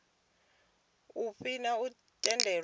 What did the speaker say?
u fhiwa thendelo ya u